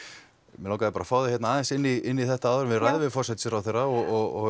mig langaði að fá þig aðeins inn í þetta áður en við ræðum við forsætisráðherrann og